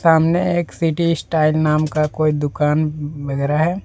सामने एक city style नाम का कोई दुकान वगैरह है।